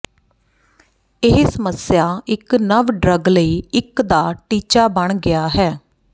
ਇਹ ਸਮੱਸਿਆ ਇੱਕ ਨਵ ਡਰੱਗ ਲਈ ਇੱਕ ਦਾ ਟੀਚਾ ਬਣ ਗਿਆ ਹੈ